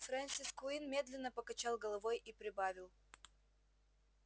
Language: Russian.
фрэнсис куинн медленно покачал головой и прибавил